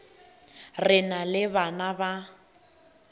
re na le bana ba